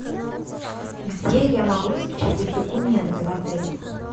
где я могу распечатать документы в отеле